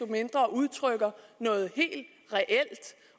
mindre udtrykker noget helt reelt